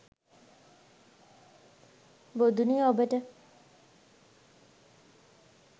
බොදුනු ඔබට